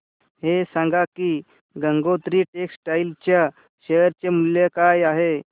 हे सांगा की गंगोत्री टेक्स्टाइल च्या शेअर चे मूल्य काय आहे